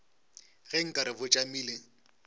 ge nka re bo tšamile